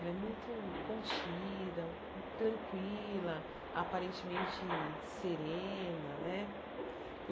Ela é muito contida, tranquila, aparentemente serena né.